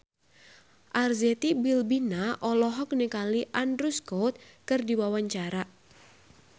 Arzetti Bilbina olohok ningali Andrew Scott keur diwawancara